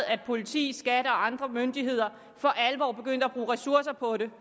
at politi skat og andre myndigheder for alvor begyndte at bruge ressourcer på det